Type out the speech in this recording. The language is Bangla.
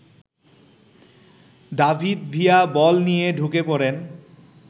দাভিদ ভিয়া বল নিয়ে ঢুকে পড়েন